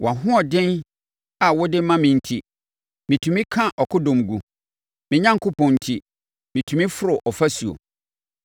Wʼahoɔden a wode ma me enti, metumi ka akodɔm gu; me Onyankopɔn enti, metumi foro ɔfasuo.